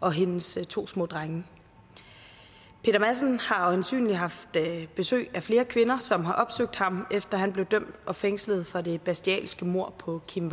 og hendes to små drenge peter madsen har øjensynlig haft besøg af flere kvinder som har opsøgt ham efter at han blev dømt og fængslet for det bestialske mord på kim